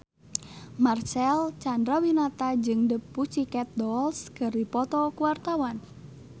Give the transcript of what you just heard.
Marcel Chandrawinata jeung The Pussycat Dolls keur dipoto ku wartawan